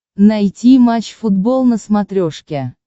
найти матч футбол на смотрешке